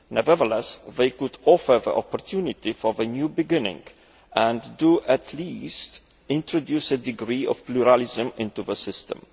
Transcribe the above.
Nevertheless, they can offer the opportunity for a new beginning and they do, at least, introduce a degree of pluralism into the system.